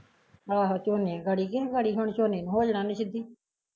ਆਹੋ ਝੋਨੇ ਗੜੀ ਕਿਉ ਗੜੀ ਹੁਣ ਝੋਨੇ ਨੂੰ ਹੋ ਜਾਣਾ ਉਹਨੇ ਸਿੱਧੀ